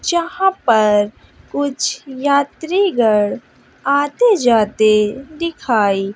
जहां पर कुछ यात्री गढ़ आते जाते दिखाई--